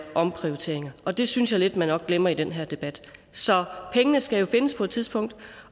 omprioriteringer og det synes jeg lidt man glemmer i den her debat så pengene skal jo findes på et tidspunkt og